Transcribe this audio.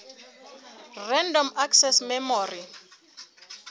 random access memory